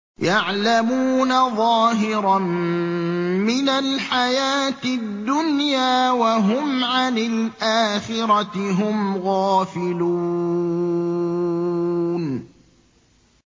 يَعْلَمُونَ ظَاهِرًا مِّنَ الْحَيَاةِ الدُّنْيَا وَهُمْ عَنِ الْآخِرَةِ هُمْ غَافِلُونَ